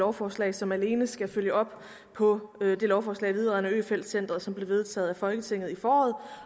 lovforslag som alene skal følge op på det lovforslag vedrørende øfeldt centret som blev vedtaget af folketinget i foråret